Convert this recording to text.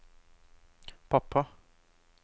pappa